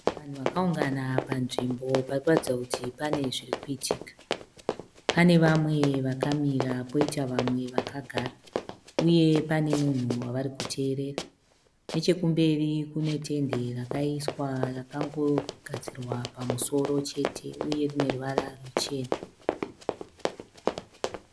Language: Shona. Vanhu vakaungana panzvimbo pari kuratidza kuti pane zviri kuitika. Pane vamwe vakamira poita vamwe vakagara uye pane munhu wavari kuteerera. Nechekumberi kune tende rakaiswa rakangogadzirwa pamusoro chete uye rine ruvara ruchena.